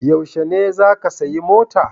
Yaushe ne za ka siya mota?